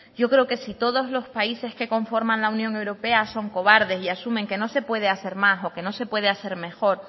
yo creo que si todos los países que conforman la unión europea son cobardes y asumen que no se puede hacer más o que no se puede hacer mejor